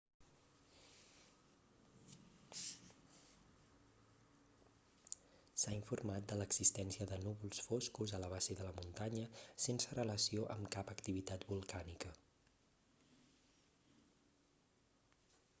s'ha informat de l'existència de núvols foscos a la base de la muntanya sense relació amb cap activitat volcànica